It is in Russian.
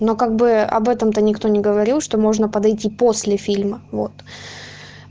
но как бы об этом то никто не говорил что можно подойти после фильма вот